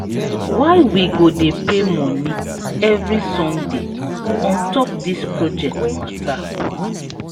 why we go dey pay moni every sunday on top dis project mata?